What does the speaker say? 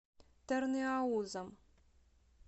тырныаузом